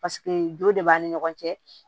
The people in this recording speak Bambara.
Paseke jo de b'an ni ɲɔgɔn cɛ